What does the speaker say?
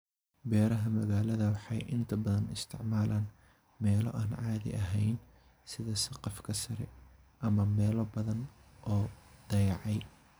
Beeraha magaalada waxay inta badan isticmaalaan meelo aan caadi ahayn, sida saqafka sare ama meelo badan oo la dayacay.